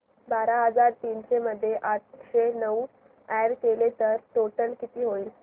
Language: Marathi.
बारा हजार तीनशे मध्ये आठशे नऊ अॅड केले तर टोटल किती होईल